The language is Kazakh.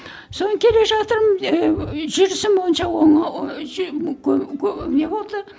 соны келе жатырмын жүрісім онша не болды